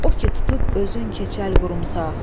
O ki tutub özün keçəl qurumsaq.